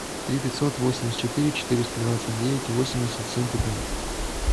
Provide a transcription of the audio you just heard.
три пятьсот восемьдесят четыре четыреста двадцать девять восемьдесят семь пятнадцать